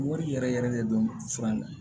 Wari yɛrɛ yɛrɛ de dɔn fura in na